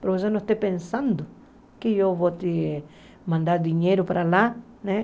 Para você não estar pensando que eu vou te mandar dinheiro para lá, né?